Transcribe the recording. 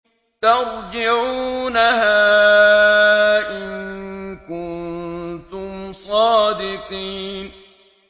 تَرْجِعُونَهَا إِن كُنتُمْ صَادِقِينَ